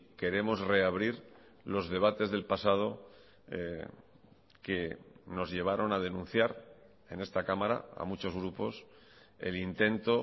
queremos reabrir los debates del pasado que nos llevaron a denunciar en esta cámara a muchos grupos el intento